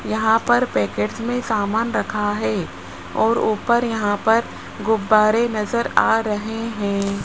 यहां पर पैकेट्स में सामान रखा है और ऊपर यहां पर गुब्बारे नज़र आ रहे हैं।